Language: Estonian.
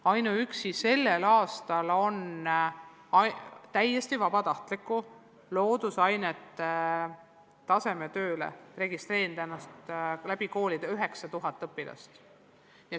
Ainuüksi sellel aastal on täiesti vabatahtlikule loodusainete tasemetööle ennast koolide kaudu registreerinud 9000 õpilast.